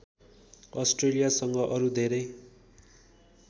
अस्ट्रेलियासँग अरु धेरै